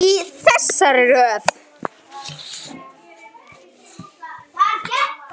Í þessari röð.